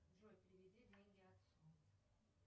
джой переведи деньги отцу